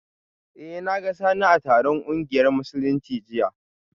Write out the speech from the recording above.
Eh, na ga Sani a taron kungiyar Musulunci jiya